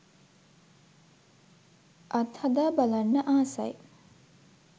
අත්හදා බලන්න ආසයි.